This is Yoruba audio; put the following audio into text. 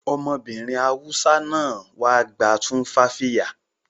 Ọmọbìnrin Hausa náà wá gba tumfafiya